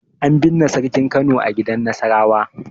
An binne Sarkin Kano a gidan Nasarawa.